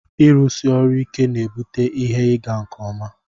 ịrụsi ọrụ ike na-ebute ihe ịga nke ọma